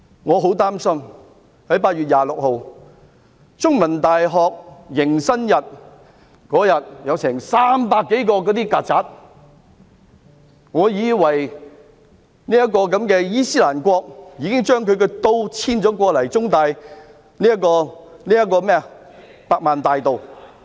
我很擔心，在8月26日的中文大學迎新日竟有300多隻"曱甴"，教我以為"伊斯蘭國"已遷都中文大學的百萬大道。